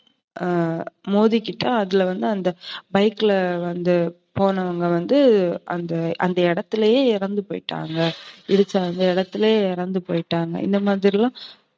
ஆஹ் மோதிக்கிட்டு அதுலவந்து அந்த bike ல வந்து போனவங்க வந்து அந்த இடத்துலையே இறந்துபோய்ட்டாங்க. இடிச்ச அந்த இடத்துலையே இறந்துபோய்ட்டாங்க இந்தமாதிரி எல்லாம்